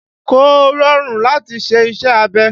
Kò rọrùn láti ṣe iṣẹ́ abẹ